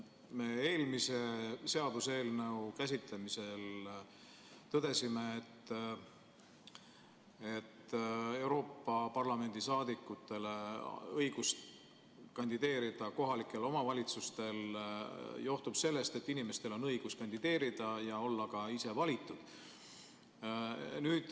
Me eelmise seaduseelnõu käsitlemisel tõdesime, et Euroopa Parlamendi saadikute õigus kandideerida kohalike omavalitsuste valimistel johtub sellest, et inimestel on õigus kandideerida ja olla ka ise valitud.